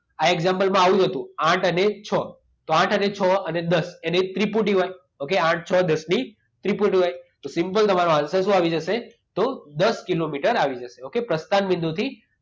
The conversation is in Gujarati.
આ એક્ષામપલમાં આવ્યું જ હતું આઠ અને છ. તો આઠ અને છ અને દસ. એની ત્રિપુટી હોય. ઓકે? આઠ, છ, દસની ત્રિપુટી હોય. તો સિમ્પલ તમારો આન્સર શું આવી જશે? તો દસ કિલોમીટર આવી જશે. ઓકે પ્રસ્થાન બિંદુથી